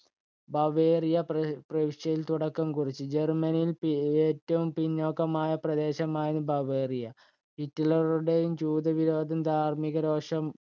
Bavaria പ്രവിശ്യയില്‍ തുടക്കം കുറിച്ചത്. ജർമനിയിൽ ഏറ്റവും പിന്നോക്കമായ പ്രദേശമായിരുന്നു ബവേറിയ. ഹിറ്റ്ലറുടെ ജൂതവിരോധം, ധാർമികരോഷം